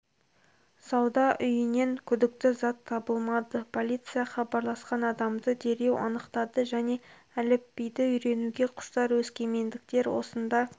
сауда үйінен күдікті зат табылмады полиция хабарласқан адамды дереу анықтады жаңа әліпбиді үйренуге құштар өскемендіктер осында